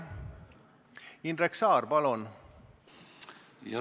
Indrek Saar, palun!